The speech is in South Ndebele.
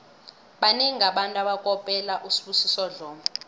banengi abantu abakopela usibusiso dlomo